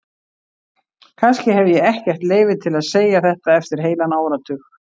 Kannski hef ég ekkert leyfi til að segja þetta eftir heilan áratug.